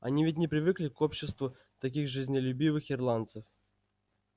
они ведь не привыкли к обществу таких жизнелюбивых ирландцев